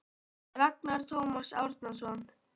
Ragnar Tómas Árnason